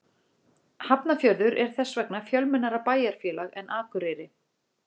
Hafnarfjörður er þess vegna fjölmennara bæjarfélag en Akureyri.